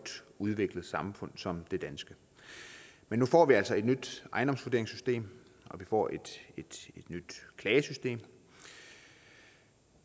udviklet samfund som det danske men nu får vi altså et nyt ejendomsvurderingssystem og vi får et nyt klagesystem